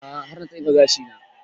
A'a har na tsefe gashi na